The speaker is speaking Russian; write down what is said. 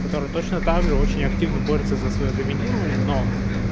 который точно также очень активно борется за своё доминирование но